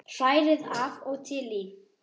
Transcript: Hrærið af og til í.